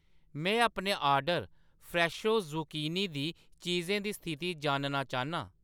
में अपने order Fresho zucchini दी चीजें दी स्थिति जानना चाह्‌न्नां